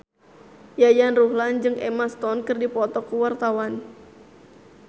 Yayan Ruhlan jeung Emma Stone keur dipoto ku wartawan